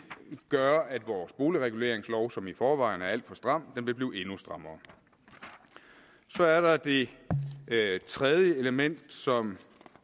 gøre at vores boligreguleringslov som i forvejen er alt for stram vil blive endnu strammere så er der det tredje element som